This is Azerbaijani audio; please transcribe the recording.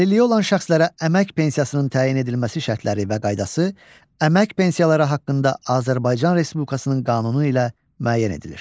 Əlilliyi olan şəxslərə əmək pensiyasının təyin edilməsi şərtləri və qaydası, əmək pensiyaları haqqında Azərbaycan Respublikasının qanunu ilə müəyyən edilir.